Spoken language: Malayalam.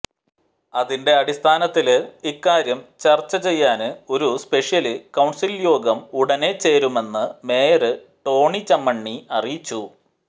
അതിന്റെ അടിസ്ഥാനത്തില് ഇക്കാര്യം ചര്ച്ചചെയ്യാന് ഒരു സ്പെഷ്യല് കൌണ്സില്യോഗം ഉടനെ ചേരുമെന്ന് മേയര് ടോണിചമ്മണി അറിയിച്ചു